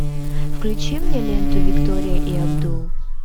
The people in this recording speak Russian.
включи мне ленту виктория и абдул